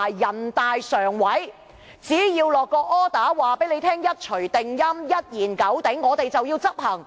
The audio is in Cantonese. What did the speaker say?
人大常委會只要下達命令，便一錘定音、一言九鼎，我們就要執行。